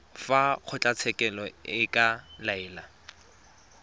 fa kgotlatshekelo e ka laela